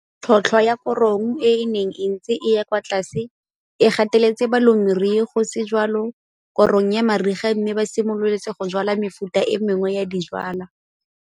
Tlhotlhwa ya korong e e neng e ntse e ya kwa tlase e gateletse balemirui go se jwale korong ya mariga mme ba simolotse go jwala mefuta e mengwe ya dijwalwa.